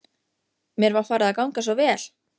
Mér var farið að ganga svo vel.